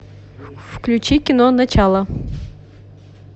включи кино начало